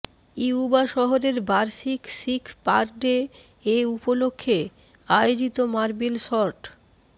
Yuba শহরের বার্ষিক Sikh parade এ উপলক্ষে আয়োজিত মার্বেল শর্ট